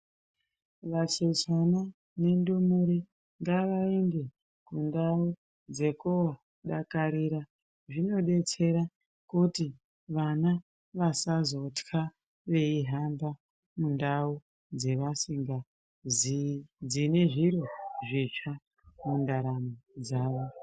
Vachechana nendumure ngavaende kundau dzekodakarira zvinodetsera kuti vana vasazotya veihamba mundau dzavasingaziii dzine zviro zvitsva mundaramo dzavo.